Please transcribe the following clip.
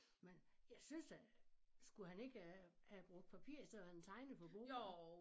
Men jeg synes da skulle han ikke øh have brugt papir i stedet for han tegner på bordene?